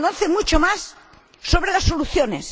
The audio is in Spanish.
Se conoce mucho más sobre las soluciones